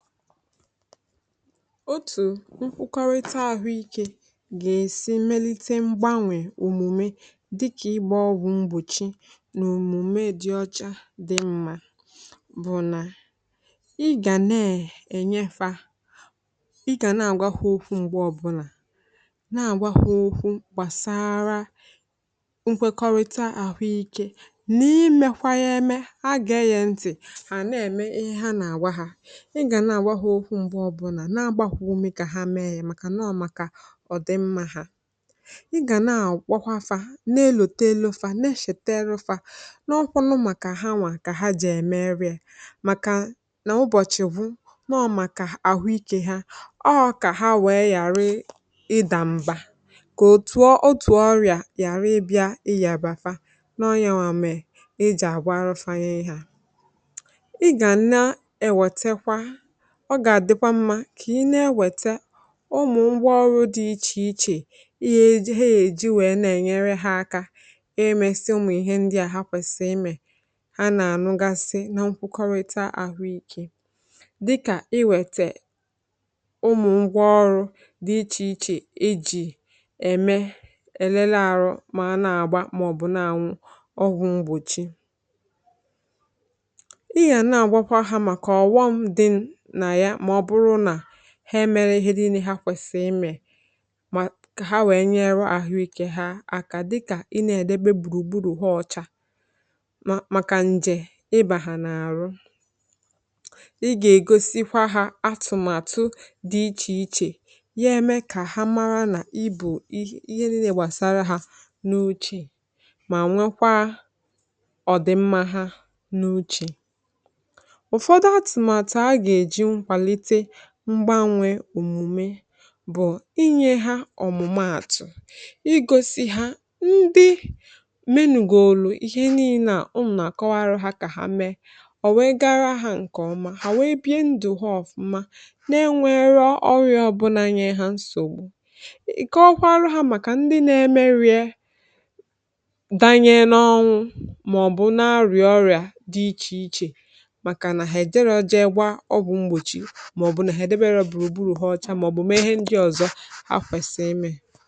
otù nkwụkọrịta àhụ ikė gà-èsi melite mgbanwè òmùme dị kà ịgbà ọgwụ̇ mgbòchi nà òmùme dị ọcha dị mmȧ, bụ̀ nà ị gà neè ènye fa, ị gà naàgwa hụ okwu m̀gbè ọbụlà naàgwa hụ okwu gbàsara nkwekọrịta àhụ ikė, nà ị mekwa ya eme, ha gà-eyè ntị̀, hà naèmè ihe ha nà àwa hȧ, na-agbakwù umù kà ha mee yà, um màkà nà ọ màkà ọ̀dịmma hȧ. ị gà na àkpọkwa fa, na-elòtelu fa, na-echètere fa n’ọkwanụ, màkà ha nwà kà ha jì ème eriė, màkà nà ụbọ̀chị̀ wụ nọọ̇, màkà àhụ ikė ha, ọọ̇ kà ha wèe yàra ịdàmba kà otùo otù ọrịà yàra ịbịȧ, ị yàrà fa n’ọnyȧwà, mèrè ị jàrà arụ fa yȧ, ị hȧ. ị gà na-ewètekwa, ọ gà-àdịkwa mmȧ kà i na-ewète ụmụ̀ mgba ọrụ̇ dị ichè ichè, ihe he èji wèe na-ènyere ha akȧ, emesi ụmụ̀ ihe ndị à ha kwèsìrì imè, ha nà-ànụgasi na nkwukọrịta àhụikė. dịkà i wètè ụmụ̀ ngwaọrụ̇ dị ichè ichè ijì ème elele àrụ, ma a na-àgba, màọ̀bụ̀ n’ànwụ, ọgwụ̀ mgbòchi, ị yà na-àgbakwa ha, màkà ọ̀ghọm dị ha, mere ihe dịnị ha kwèsìrì imė kà ha wèe nyere àhụikė ha àkà. dịkà ị na-èdebe gbùrùgburù hwa ọcha, màkà njè ị bàhà n’àhụ, ị gà-ègosikwa ha atụ̀màtụ dị ichè ichè, ya eme kà ha mara nà ibù ihe dị nà-èbasara ha n’uchè, mà nwekwa ọ̀dị̀mma ha n’uchè. mgbànwe òmume bụ̀ inyė ha ọ̀mụ̀mààtụ̀, i gosi hȧ ndị menùgolo ihe niilė, à ụmụ̀ nà àkọwara hȧ, kà ha meé ọ̀, wee gara hȧ ǹkèọma, hà wèe bịa ndụ̀ hà ọ̀fụma, na-enwėrọ ọrịọ̇ ọ̀bụlà nye hȧ nsògbu. ị̀kọ ọkwa arụ ha, màkà ndị na-emerịe danye n’ọnwụ, màọ̀bụ̀ na-arụ̀ọ̀rịà dị ichè ichè, màkà nà ha èjere ọjọ, e gwa ọbụ̇ mgbòchi, màọ̀bụ̀ m ehe ndị ọzọ ha kwesịrị ime.